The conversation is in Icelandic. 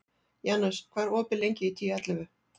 Janus, hvað er opið lengi í Tíu ellefu?